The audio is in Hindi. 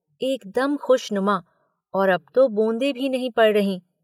एकदम खुशनुमा और अब तो बूंदें भी नहीं पड़ रहीं।